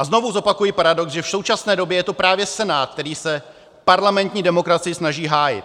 A znovu zopakuji paradox, že v současné době je to právě Senát, který se parlamentní demokracii snaží hájit.